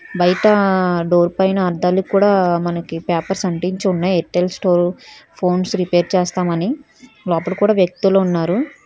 బయట డోర్ పైన అద్దాలక్కూడా మనకి పేపర్స్ అంటించి ఉన్నాయ్ ఎయిర్టెల్ స్టోరు ఫోన్స్ రిపేర్ చేస్తాం అని లోపట కూడా వ్యక్తులు ఉన్నారు.